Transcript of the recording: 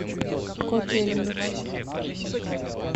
котельнич